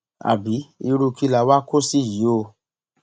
àbí irú kí la wáá kó sí yìí oòó